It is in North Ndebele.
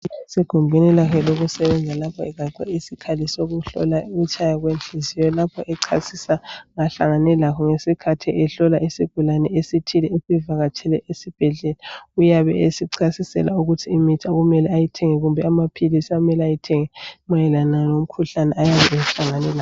Usegumbini lakhe lokusebenza lapho egaxe isikhali sokuhlola ukutshaya kwenhliziyo, lapho echasisa ngahlangane lakho isikhathi ehlola isigulane esithile esivakatshele esibhedlela. Uyabe esichasisela ukuthi imithi okumele ayithenge kumbe amaphilisi amele awathenge mayelana lomkhuhlane ayabe ehlangane lawo.